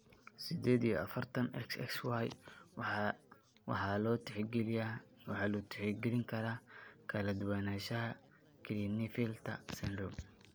Sided iyo afartan, XXYY waxaa loo tixgelin karaa kala duwanaanshiyaha Klinefelter syndrome.